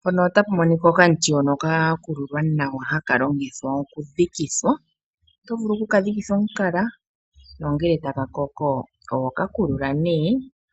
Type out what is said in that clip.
Mpaka otapu monika okamuti hoka ka kululwa nawa, haka longithwa okudhikitha. Oto vulu oku kadhikitha omukala nongele taka koko ohaka kululwa